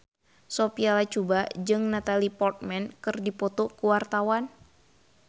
Sophia Latjuba jeung Natalie Portman keur dipoto ku wartawan